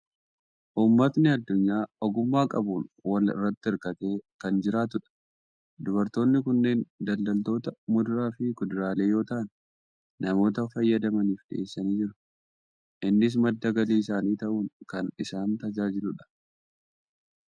Uummatni addunyaa ogummaa qabuun wal irratti hirkatee kan jiraatudha. Dubartoonni kunneen daldaltoota muduraa fi kuduraalee yoo ta'an, namoota fayyadamaniif dhiyeessanii jiru. Innis madda galii isaanii ta'uun kan isaan tajaajilu dha.